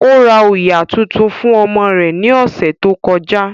Ó ra òyà tuntun fún ọmọ rẹ̀ ní ọ̀sẹ̀ tó kọjá